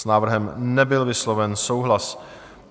S návrhem nebyl vysloven souhlas.